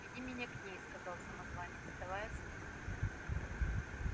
веди меня к ней сказал самозванец вставая с места